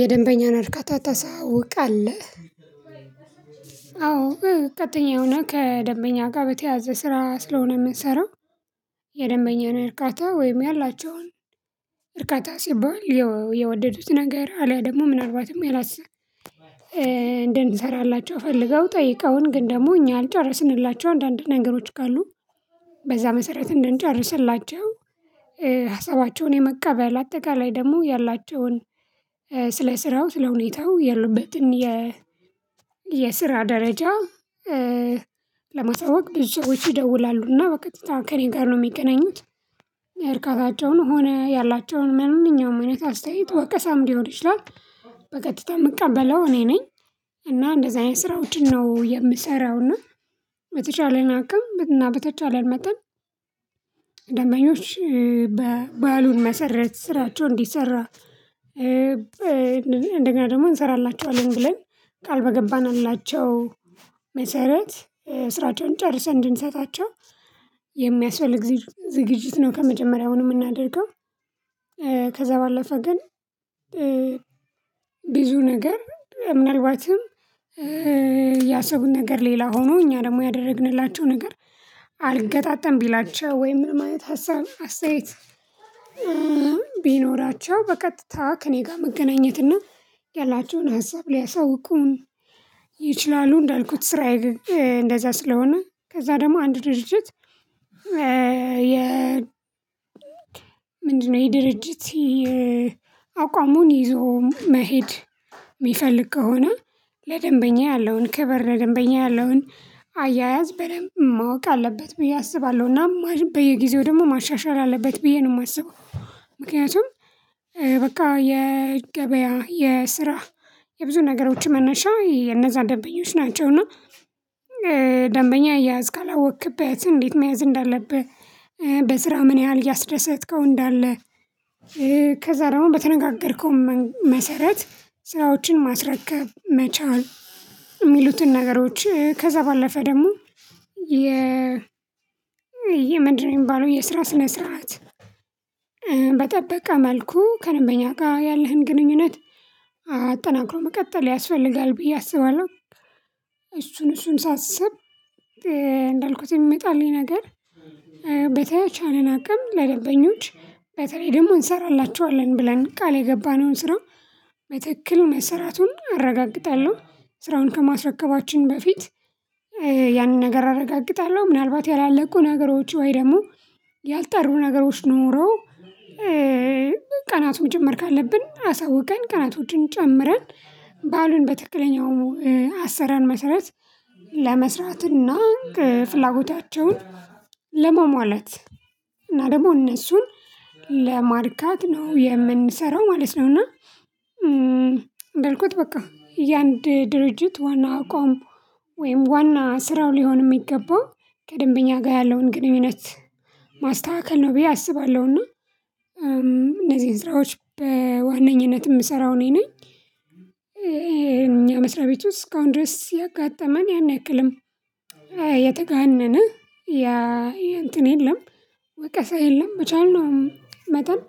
የደንበኛን እርካታ ታሳውቃለህ አዎ በቃተኛ የሆነ ከደንበኛ ጋር በተያያዘ ስራ ስለሆነ የምንሰራው። የደንበኛ እርካታ ወይም ያላቸውን እርካታ ሲባል የወደዱት ነገር አለያ ደግሞ ምናልባትም ያላሰ ያላስ እንድንሰራላቸው ፈልገው ጠይቀውን ግን ደግሞ እኛ ያልጨረስንላቸው አንዳንድ ነገሮች ካሉ በዛ መሰረት እንደንጨርስላቸው። ሀሳባቸውን የመቀበል አጠቃላይ ደግሞ ያላቸውን ስለ ስራው ስለ ሁኔታው ያሉበትን የ የስራ ደረጃ። ለማሳወቅ ብዙ ሰዎች ይደውላሉ እና በቀጥታ ከእኔ ጋር ነው የሚገናኙት እርካታቸውን ሆነ ያላቸውን ምንም እውነት አስተያየት ወቀሳም ሊሆን ይችላል። በቀጥታ የምቀበለው እኔ ነኝ። እና እንደዚህ አይነት ስራ ውጪ ነው የምሰራው። እና በተቻለን አቅም እና በተቻለን መጠን ደንበኞች ባሉን መሰረት ስራቸው እንዲሰራ። እንደገና ደግሞ እንሰራላችኋለን ብለን ቃል በገባንላቸው መሰረት ስራቸውን ጨርሰን እንድንሰጣቸው የሚያስፈልግ ዝግጅት ነው ከመጀመሪያው እንደምናደርገው። ባለፈ ግን ብዙ ነገር ምናልባትም ያሰቡት ነገር ሌላ ሆኖ እኛ ደግሞ ያደረግንላቸው ነገር አልገጣጠም። ቢላቸው ወይ ምን ማየት ሀሳብ አስተያየት ቢኖራቸው በቀጥታ ከእኔ ጋር መገናኘት ያላቸውን ሀሳብ ሊያሳውቁን ይችላሉ። እንዳልኩት ስራዬ ግን እንደዛ ስለሆነ ከዛ ደግሞ አንድ ድርጅት የ ምንድነው? የድርጅት አቋሙን ይዞ መሄድ የሚፈልግ ከሆነ ለደንበኛ ያለውን ክበር ለደንበኛ ያለውን አያያዝ በደንብ ማወቅ አለበት ብዬ አስባለሁ እና በየጊዜው ደግሞ ማሻሻል አለበት ብዬ ነው የማስበው። ምክንያቱም በቃ የገበያ የስራ የብዙ ነገሮች መነሻ የነዛ ደንበኞች ናቸውና። ደንበኛ አያያዝ ካላወቅክበትም እንዴት መያዝ እንዳለብህ በስራ ምን ያህል ያስደሰትከው እንዳለ። ከዛ ደግሞ በተነጋገርከው መሰረት ስራዎችን ማስረከብ መቻል የሚሉትን ነገሮች ከዛ ባለፈ ደግሞ የ የምንድነው የሚባለው የስራ ስነ ስርዓት በጠበቃ መልኩ ከደንበኛ ጋር ያለህን ግንኙነት አጠናክሮ መቀጠል ያስፈልጋል ብዬ አስባለሁ። እሱን እሱን ሳስብ እንዳልኩት የሚመጣልኝ ነገር በተቻለን አቅም ለደንበኞች በተለይ ደግሞ እንሰራላችኋለን ብለን ቃል የገባነውን ስራ መትክክል መሰራቱን አረጋግጣለሁ። ስራውን ከማስረከባችን በፊት ያንን ነገር አረጋግጣለሁ። ምናልባት ያላለቁ ነገሮች ወይ ደግሞ ያልጠሩ ነገሮች ኖረው። ቀናቱም መጨመር ካለብን አሳውቀን ቀናቶችን ጨምረን ባሉን በትክክለኛው አሰራር መሰረት ለመስራት እና ፍላጎታቸውን ለማሟላት እና ደግሞ እነሱን ለማርካት ነው የምንሰራው ማለት ነው። እና እንዳልኩት በቃ የአንድ ድርጅት ዋና አቋም ወይም ዋና ስራው ሊሆን የሚገባው ከደንበኛ ጋር ያለውን ግንኙነት ማስተካከል ነው ብዬ አስባለሁ። እና እነዚህን ስራዎች በዋነኝነት የምሰራው እኔ ነኝ። እኛ የመስሪያ ቤት ውስጥ እስካሁን ድረስ ያጋጠመን ያን ያክልም የተጋነነ ያ የእንትን የለም። ወቀሳ የለም መቻልነው መጠን